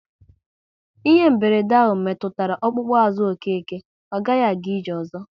Ihe mberede ahụ metụtara ọkpụkpụ azụ Okeke, ọ gaghị aga ije ozo